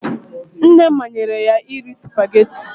Nne manyere ya iri spugeetí ti